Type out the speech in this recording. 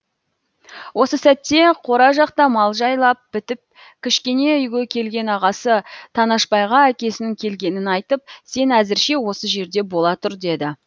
осы сәтте қора жақта мал жайлап бітіп кішкене үйге келген ағасы танашбайға әкесінің келгенін айтып сен әзірше осы жерде бола тұр деді